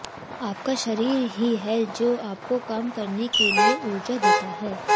आपका शरीर ही है जो आपको काम करने की ऊर्जा देता है